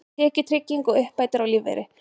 Tekjutrygging og uppbætur á lífeyri.